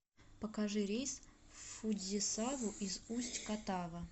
покажи рейс в фудзисаву из усть катава